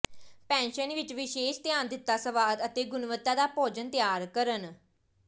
pension ਵਿਚ ਵਿਸ਼ੇਸ਼ ਧਿਆਨ ਦਿੱਤਾ ਸਵਾਦ ਅਤੇ ਗੁਣਵੱਤਾ ਦਾ ਭੋਜਨ ਤਿਆਰ ਕਰਨ